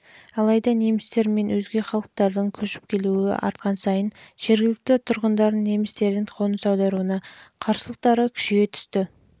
алайда немістер мен өзге халықтардың көш-келуі артқан сайын жергілікті тұрғындардың немістердің қоныс аударуына қарсылықтары күшейе түсті